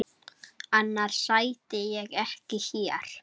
Annars sæti ég ekki hér.